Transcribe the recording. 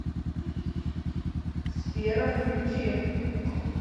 сфера включи